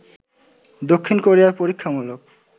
দক্ষিণ কোরিয়ায় পরীক্ষামূলক